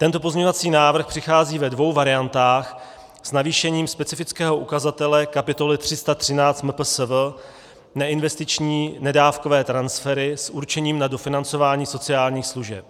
Tento pozměňovací návrh přichází ve dvou variantách s navýšením specifického ukazatele kapitoly 31 MPSV neinvestiční nedávkové transfery s určením na dofinancování sociálních služeb.